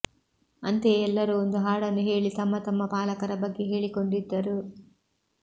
ಅಂತೆಯೇ ಎಲ್ಲರೂ ಒಂದು ಹಾಡನ್ನು ಹೇಳಿ ತಮ್ಮ ತಮ್ಮ ಪಾಲಕರ ಬಗ್ಗೆ ಹೇಳಿಕೊಂಡಿದ್ದರು